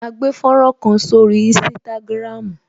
A gbé fọ́nrán kan sórí Instagram